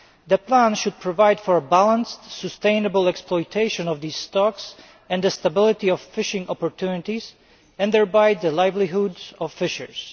The plan should provide for a balanced, sustainable exploitation of these stocks and for the stability of fishing opportunities and thereby the livelihoods of fishers.